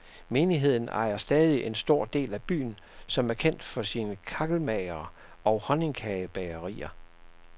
Menigheden ejer stadig en stor del af byen, som er kendt for sine kakkelmagere og honningkagebagerier.